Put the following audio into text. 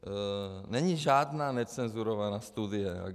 Není žádná necenzurovaná studie.